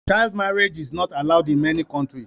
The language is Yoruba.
Child marriage is not allowed in many countries